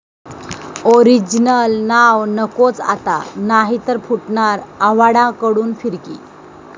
original नाव नकोच आता, नाही तर फुटणार,' आव्हाडांकडून फिरकी